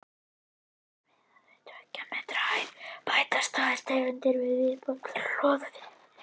Sé miðað við tveggja metra hæð bætast tvær tegundir við í viðbót: loðvíðir og einir.